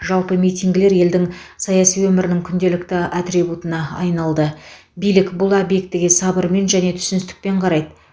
жалпы митингілер елдің саяси өмірінің күнделікті атрибутына айналды билік бұл аспектіге сабырмен және түсіністікпен қарайды